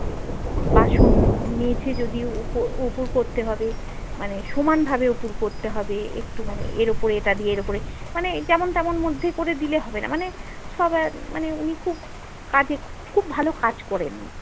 বাসন মেজে যদি উপুড় উপুড় করতে হবে মানে সমান ভাবে উপুড় করতে হবে একটু মানে এর উপরে এটা দিয়ে এর ওপরে মানে যেমন তেমন মধ্যে করা দিলে হবেনা মানে সবাই মানে উনি খুব কাজে খুব ভালো কাজ করেন